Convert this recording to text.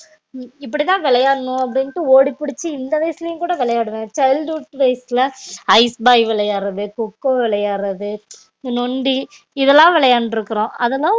இப்படிதான் விளையாடனும் அப்டிண்ட்டு ஓடி புடிச்சி இந்த வயசுலயும் கூட விளையாடுவன் childhood days ல ஐஸ் பாய் விளையாடுறது கொக்கோ விளையாடுறது நொண்டி இதுலான் விளையாண்டுருக்கோம் அதலான்